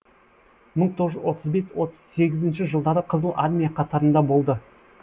мың тоғыз жүз сексен бес отыз сегізінші жылдары қызыл армия қатарында болды